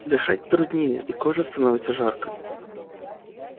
дышать труднее и коже становится жарко